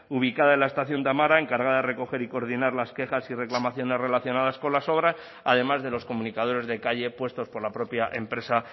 ubicada en la estación de amara encargada de recoger y coordinar las quejas y reclamaciones relacionadas con las obras además de los comunicadores de calle puestos por la propia empresa